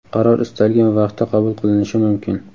qaror istalgan vaqtda qabul qilinishi mumkin.